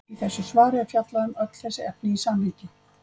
Í þessu svari er fjallað um öll þessi efni í samhengi.